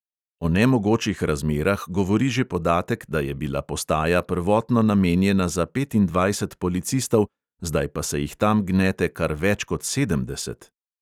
O nemogočih razmerah govori že podatek, da je bila postaja prvotno namenjena za petindvajset policistov, zdaj pa se jih tam gnete kar več kot sedemdeset.